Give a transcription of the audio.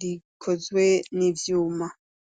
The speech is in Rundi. rikozwe n'ivyuma.